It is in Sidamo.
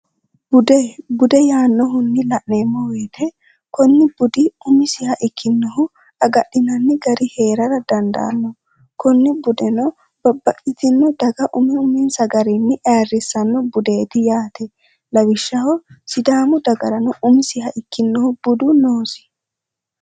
budbude yaannohunni la'neemmou weyite kunni budi umisiha ikkinnohu agadhinanni gari hee'rara dandaanno kunni budeno babba'itino daga umi umiinsa gariinni eerrissanno budeeti yaate lawishshaho sidaamu dagarano umisiha ikkinnohu budu noosi